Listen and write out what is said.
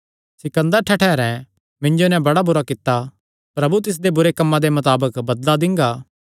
सिकन्दर ठठैरें मिन्जो नैं बड़ा बुरा कित्ता प्रभु तिसदे बुरे कम्मां दे मताबक बदला दिंगा